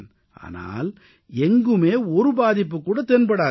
ஆனால் எங்குமே ஒரு பாதிப்புகூட தென்படாது